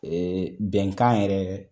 Ee bɛnkan yɛrɛ